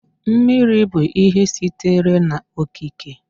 Mmiri bụ ihe sitere na-okike.